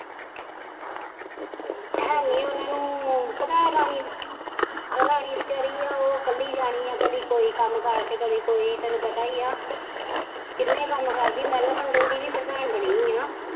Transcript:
ਹੈ ਨੀ ਉਹਨਾਂ ਨੂੰ ਪਤਾ ਰਾਣੀ ਰਾਣੀ ਵਿਚਾਰੀ ਹੈ ਉਹ ਇੱਕਲੀ ਰਾਣੀ ਹੈ ਕਦੀ ਕੋਈ ਕੰਮ ਕਰ ਤੇ ਕਦੀ ਕੋਈ ਤੈਨੂੰ ਪਤਾ ਹੀ ਆ ਕਿੰਨੇ ਕੰਮ ਕਰਦੀ ਮਹਿਲਾ ਮੰਡਲ ਦੀ ਵੀ ਪ੍ਰਧਾਨ ਬਣੀ ਹੈ।